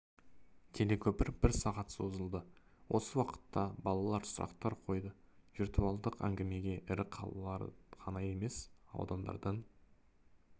телекөпір бір сағатқа созылды осы уақытта балалар сұрақтар қойды виртуалдық әңгімеге ірі қалалар ғана емес аудандардан